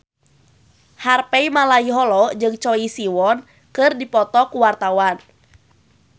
Harvey Malaiholo jeung Choi Siwon keur dipoto ku wartawan